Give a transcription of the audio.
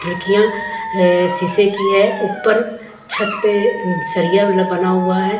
कियां शीशे की है ऊपर छत पे सरिया बना हुआ है।